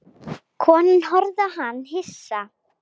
Konan horfði á hann hissa.